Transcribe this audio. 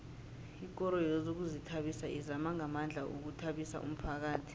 ikoro yezokuzithabisa izama ngamandla ukuthabisa umphakhathi